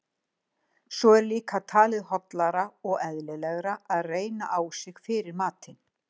Svo er líka talið hollara og eðlilegra að reyna á sig fyrir matinn!